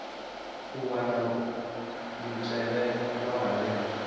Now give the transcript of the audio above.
u wana mutevhe wa vhane